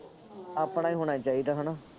ਆਪਣਾ ਹੀ ਹੋਣਾ ਚਾਹੀਦਾ ਹੈ ਨਾ